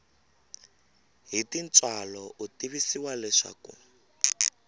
hi tintswalo u tivisiwa leswaku